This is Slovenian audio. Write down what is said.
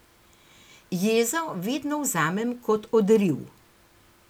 Jezo vedno vzamem kot odriv.